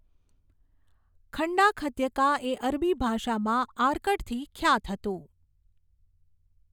ખંડાખઘ્યકા એ અરબી ભાષામાં આર્કડથી ખ્યાત હતું.